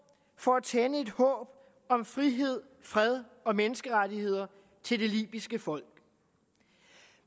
for at tænde et håb om frihed fred og menneskerettigheder til det libyske folk